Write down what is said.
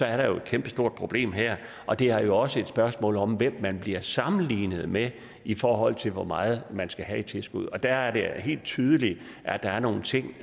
er der jo et kæmpestort problem her og det er jo også et spørgsmål om hvem man bliver sammenlignet med i forhold til hvor meget man skal have i tilskud der er det helt tydeligt at der er nogle ting